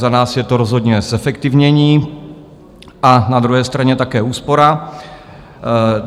Za nás je to rozhodně zefektivnění a na druhé straně také úspora.